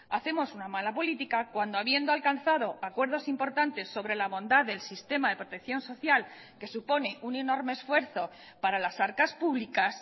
hacemos una mala política cuando habiendo alcanzado acuerdos importantes sobre la bondad del sistema de protección social que supone un enorme esfuerzo para las arcas públicas